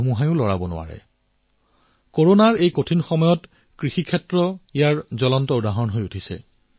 মই এনে বহু কৃষকৰ পৰা চিঠি পাইছো কৃষক সংগঠনৰ সৈতে মোৰ কথা হয় তেওঁলোকে কয় যে খেতিত নতুন নতুন পদক্ষেপ সংযোজিত হৈছে পৰিৱৰ্তন সাধন হৈছে